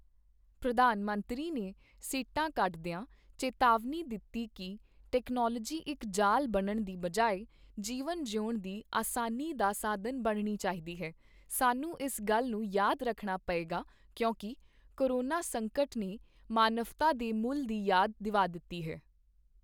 ਪ੍ਰਧਾਨ ਮੰਤਰੀ ਨੇ ਸਿੱਟਾ ਕੱਢਦੀਆਂ, ਚੇਤਾਵਨੀ ਦਿੱਤੀ ਕੀ ਟੈਕਨੋਲਵੋਜੀ ਇੱਕ ਜਾਲ ਬਣਨ ਦੀ ਬਜਾਏ ਜੀਵਨ ਜੀਉਣ ਦੀ ਅਸਾਨੀ ਦਾ ਸਾਧਨ ਬਣਣੀ ਚਾਹੀਦੀ ਹੈ, ਸਾਨੂੰ ਇਸ ਗੱਲ ਨੂੰ ਯਾਦ ਰੱਖਣਾ ਪਏਗਾ ਕਿਉਂਕਿ ਕੋਰੋਨਾ ਸੰਕਟ ਨੇ ਮਾਨਵਤਾ ਦੇ ਮੁੱਲ ਦੀ ਯਾਦ ਦਿਵਾ ਦਿੱਤੀ ਹੈ।